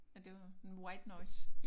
At det var white noise?